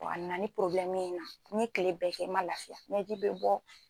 Wa a nana ni porobilɛmu ye n ma n ye kile bɛɛ kɛ n ma lafiya n ɲeji be bɔ